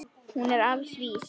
Hún er til alls vís.